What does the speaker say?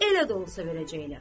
elə də olsa verəcəklər.